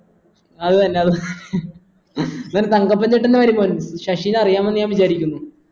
അത് തന്നെ അതെ ഇവൻ തങ്കപ്പൻ ചേട്ടൻ്റെ മരുമോൻ ശശിനെ അറിയാമെന്ന് ഞാൻ വിചാരിക്കുന്നു